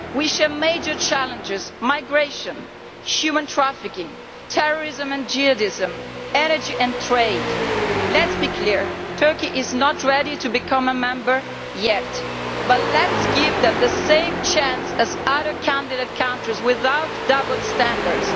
We share major challenges migration, human trafficking, terrorism and jihadism, energy and trade. Let us be clear, Turkey is not ready to become a member yet, but let us give them the same chance as other candidate countries, without double standards.